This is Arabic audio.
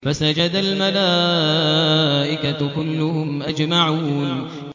فَسَجَدَ الْمَلَائِكَةُ كُلُّهُمْ أَجْمَعُونَ